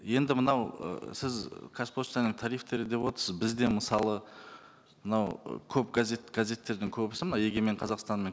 енді мынау ы сіз қазпоштаның тарифтері деп отырсыз бізде мысалы мынау ы көп газет газеттердің көбісі мына егемен қазақстан мен